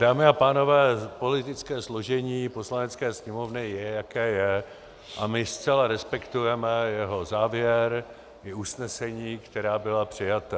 Dámy a pánové, politické složení Poslanecké sněmovny je, jaké je, a my zcela respektujeme jeho závěr i usnesení, která byla přijata.